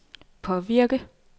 påvirke